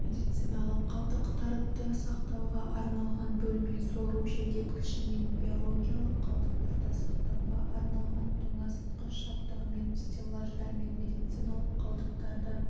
медициналық қалдықтарды сақтауға арналған бөлме сору желдеткішімен биологиялық қалдықтарды сақтауға арналған тоңазытқыш жабдығымен стеллаждармен медициналық қалдықтары